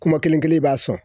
Kuma kelen kelen i b'a sɔn.